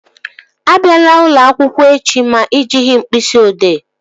Abịala ụlọakwụkwọ echi ma ị jighị mkpịsị odee!